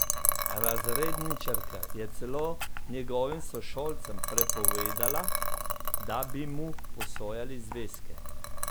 Razredničarka je celo njegovim sošolcem prepovedala, da bi mu posojali zvezke!